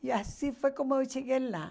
E assim foi como eu cheguei lá.